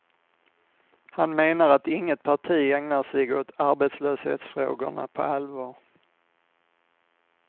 Han menar att inget parti ägnar sig åt arbetslöshetsfrågorna på allvar.